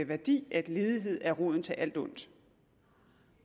værdi at ledighed er roden til alt ondt